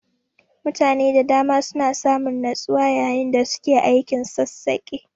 Mutane da dama suna samun natsuwa yayin da suke aikin sassaƙe.